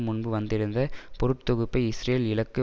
முன்பு வந்திருந்த பொருட்தொகுப்பை இஸ்ரேல் இலக்கு